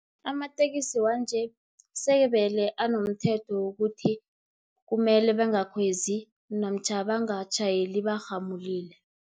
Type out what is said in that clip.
Amatekisi wanje, sebele anomthetho wokuthi, kumele bangakhwezi namtjhana bangatjhayeli barhamulile.